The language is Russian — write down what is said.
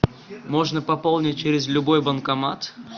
можно пополнить через любой банкомат